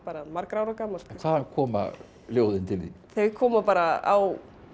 margra ára gamalt hvaðan koma ljóðin til þín þau koma bara á